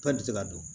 Tɔ tɛ se ka dun